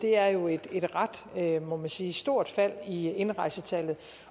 er jo et et ret må man sige stort fald i indrejsetallet